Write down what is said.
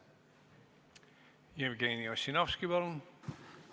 Jevgeni Ossinovski, palun!